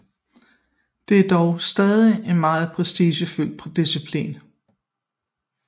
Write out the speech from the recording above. Det er dog stadig en meget prestigefyldt disciplin